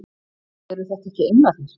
Eru þetta ekki englarnir!